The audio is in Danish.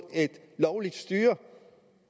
et lovligt styre